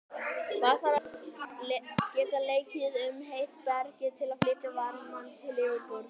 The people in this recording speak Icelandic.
Vatn þarf að geta leikið um heitt bergið til að flytja varmann til yfirborðs.